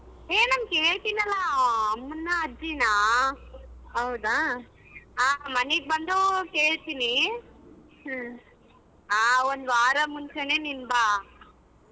ಹೆ ನಾನ್ ಕೇಳತಿನಲ್ಲ ಅಮ್ಮನ ಅಜ್ಜಿನ ಮನೆಗ ಬಂದು ಕೇಳ್ತೀನಿ ಹಾ ಒಂದವಾರ ಮುಂಚೆನೆ ನೀನ್ ಬಾ.